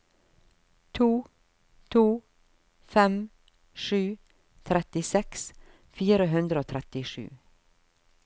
to to fem sju trettiseks fire hundre og trettisju